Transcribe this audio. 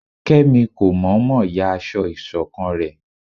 Kemí kómọmọ yá aso isokan re